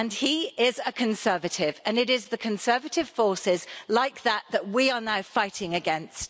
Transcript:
He is a conservative and it is the conservative forces like that that we are now fighting against.